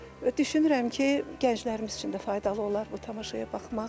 Və düşünürəm ki, gənclərimiz üçün də faydalı olar bu tamaşaya baxmaq.